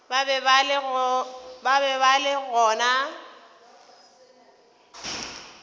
ba be ba le gona